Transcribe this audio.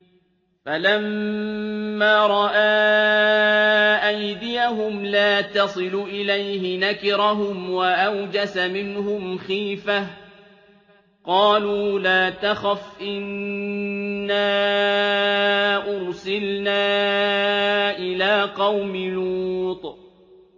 فَلَمَّا رَأَىٰ أَيْدِيَهُمْ لَا تَصِلُ إِلَيْهِ نَكِرَهُمْ وَأَوْجَسَ مِنْهُمْ خِيفَةً ۚ قَالُوا لَا تَخَفْ إِنَّا أُرْسِلْنَا إِلَىٰ قَوْمِ لُوطٍ